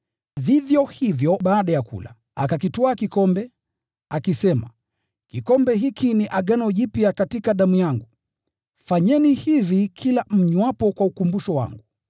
Vivyo hivyo baada ya kula, akakitwaa kikombe, akisema, “Kikombe hiki ni agano jipya katika damu yangu. Fanyeni hivi kila mnywapo, kwa ukumbusho wangu.”